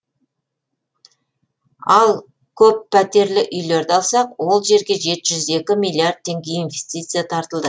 ал көппәтерлі үйлерді алсақ ол жерге жеті жүз екі миллиард теңге инвестиция тартылды